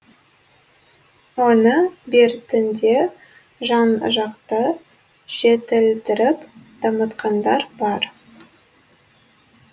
оны бертінде жан жақты жетілдіріп дамытқандар бар